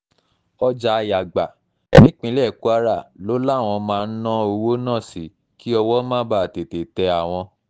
ọjà yàgbà nípínlẹ̀ kwara ló láwọn máa ń ná owó náà sí kí owó mọ́ báa tètè tẹ àwọn